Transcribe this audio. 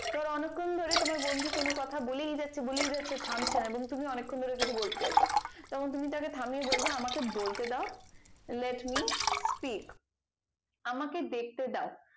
অনেকক্ষন ধরে তোমার বন্ধু কোনো কথা বলেই যাচ্ছে বলেই যাচ্ছে থমকে না এবং তুমি অনেকক্ষন ধরে কিছু বলতে চাইছো তখন তুমি তাকে থামিয়ে বলবে আমাকে বলতে দাও let me spike আমাকে দেখতে দাও